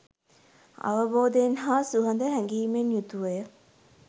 අවබෝධයෙන් හා සුහද හැඟීමෙන් යුතුව ය.